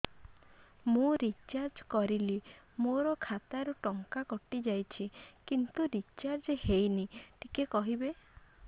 ମୁ ରିଚାର୍ଜ କରିଲି ମୋର ଖାତା ରୁ ଟଙ୍କା କଟି ଯାଇଛି କିନ୍ତୁ ରିଚାର୍ଜ ହେଇନି ଟିକେ କହିବେ